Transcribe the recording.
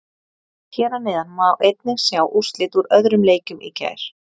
Hér að neðan má einnig sjá úrslit úr öðrum leikjum í gær.